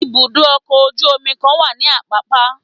ibudọ ọkọ ojú omí kan wa ní apapa.